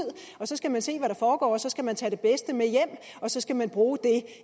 så skal man se hvad der foregår så skal man tage det bedste med hjem og så skal man bruge det